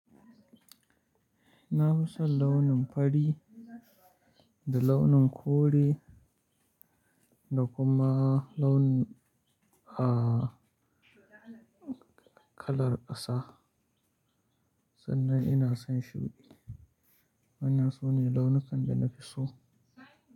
Na fi son launin fari da launin kore da kuma launin kalar ƙasa. Sannan ina son shuɗi. Wanna su ne launukan da na fi so.